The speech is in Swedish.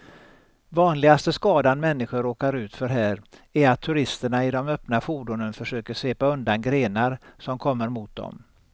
Vanligaste skadan människor råkar ut för här är att turisterna i de öppna fordonen försöker svepa undan grenar som kommer mot dem.